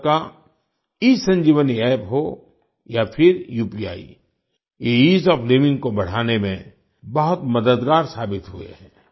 भारत का ईसंजीवनी App हो या फिर उपी ये ईज़ ओएफ Livingको बढ़ाने में बहुत मददगार साबित हुए हैं